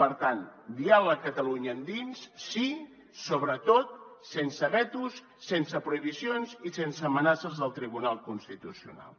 per tant diàleg catalunya endins sí sobretot sense vetos sense prohibicions i sense amenaces del tribunal constitucional